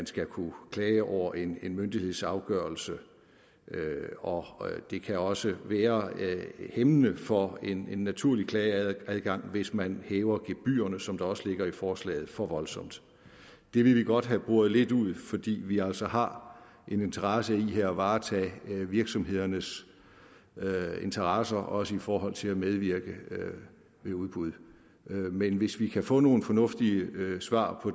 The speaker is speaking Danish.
skal kunne klages over en en myndighedsafgørelse og det kan også være hæmmende for en naturlig klageadgang hvis man hæver gebyrerne som der også ligger i forslaget for voldsomt det vil vi godt have boret lidt ud fordi vi altså har en interesse i at varetage virksomhedernes interesser også i forhold til at medvirke ved udbud men hvis vi kan få nogle fornuftige svar på